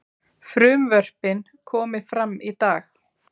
Frumvörpin komi fram í dag